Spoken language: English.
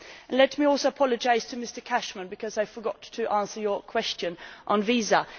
Let me also apologise to Mr Cashman because I forgot to answer his question on visas.